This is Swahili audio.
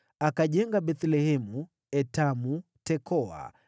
Akajenga Bethlehemu, Etamu, Tekoa,